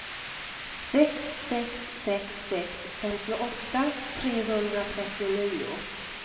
sex sex sex sex femtioåtta trehundratrettionio